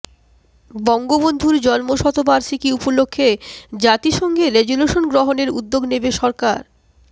বঙ্গবন্ধুর জন্মশতবার্ষিকী উপলক্ষে জাতিসংঘে রেজুলেশন গ্রহণের উদ্যোগ নেবে সরকার